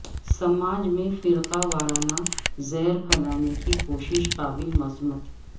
سماج میں فرقہ وارانہ زہر پھیلانے کی کوشش قابل مذمت